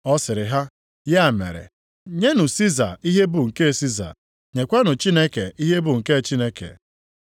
Ọ sịrị ha, “Ya mere, nyenụ Siza ihe bụ nke Siza, nyekwanụ Chineke ihe bụ nke Chineke.”